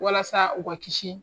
Walasa u ka kisi.